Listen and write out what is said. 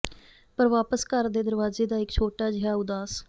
ਪਰ ਵਾਪਸ ਘਰ ਦੇ ਦਰਵਾਜ਼ੇ ਦਾ ਇੱਕ ਛੋਟਾ ਜਿਹਾ ਉਦਾਸ